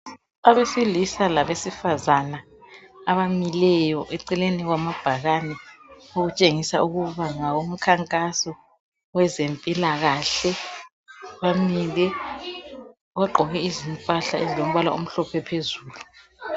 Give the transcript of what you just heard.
Abesilisa labesifazana abamileyo eceleni kwamabhakani okutshengisa ukuba ngawomkhankaso owezempilakahle bamile, bagqoke izimpahle ezilombala omhlophe phezulu.